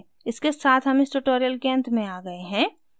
इसके साथ हम इस tutorial के अंत में आ गए हैं